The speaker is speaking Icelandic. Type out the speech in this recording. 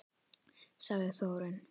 Sagði Þórunn!